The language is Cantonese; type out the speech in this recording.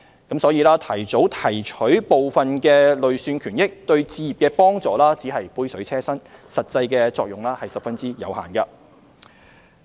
因此，提早提取部分累算權益，對置業的幫助只是杯水車薪，實際作用十分有限。